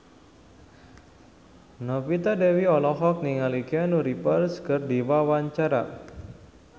Novita Dewi olohok ningali Keanu Reeves keur diwawancara